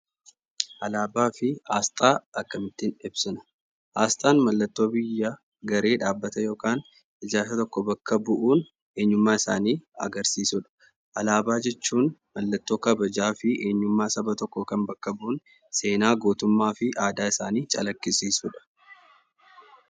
Alaabaa fi aasxaa akkamittiin ibsina? Aasxaan mallattoo biyya, garee, dhaabbata yokaan ijaarsa tokko bakka bu'uun eenyummaasaanii agarsiisudha. Alaabaa jechuun mallattoo kabajaa fi eenyummaa saba tokkoo kan bakka bu'u seenaa gootummaa fi aadaa isaanii calaqqisiisudha.